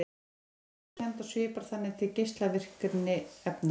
Hún er tilviljunarkennd og svipar þannig til geislavirkni efna.